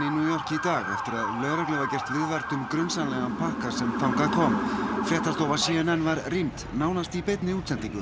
í dag eftir að lögreglu var gert viðvart um grunsamlegan pakka sem þangað kom fréttastofa c n n var rýmd nánast í beinni útsendingu